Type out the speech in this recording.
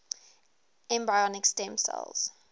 embryonic stem cells